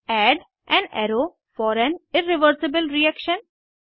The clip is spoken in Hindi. add an arrow for an irreversible reaction